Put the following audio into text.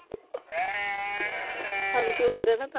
ਸਾਨੂੰ ਸ਼ੁਗਰ ਹਣਾ ਤਾ ।